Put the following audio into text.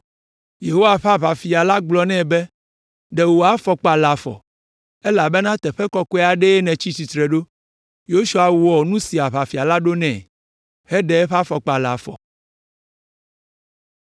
Yehowa ƒe Aʋafia la gblɔ nɛ be, “Ɖe wò afɔkpa le afɔ, elabena teƒe kɔkɔe aɖee nètsi tsitre ɖo!” Yosua wɔ nu si Aʋafia la ɖo nɛ, heɖe eƒe afɔkpa la le afɔ.